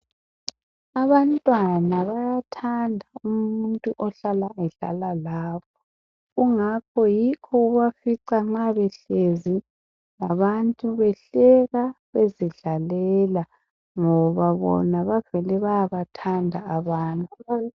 Abantwana bayathanda umuntu ohlala edlala labo kungakho yikho ubafica nxa behlezi labantu behleka bezidlalela ngoba bona bavele bayabathanda abantu.